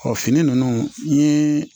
Ɔ fini ninnu n ye